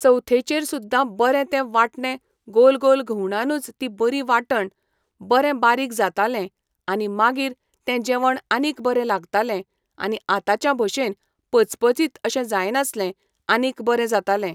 चवथेचेर सुद्दा बरे ते वांटणें गोल गोल घुंवडावनूच ती बरी वांटण, बरें बारीक जातालें आनी मागीर तें जेवण आनीक बरें लागतालें आनी आतांच्या भशेन पचपचीत अशें जायनासलें आनीक बरें जातालें.